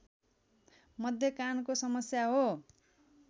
मध्य कानको समस्या हो